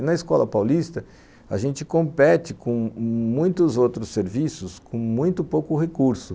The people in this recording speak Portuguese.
E na Escola Paulista a gente compete com muitos outros serviços com muito pouco recurso.